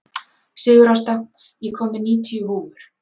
Sigurásta, ég kom með níutíu húfur!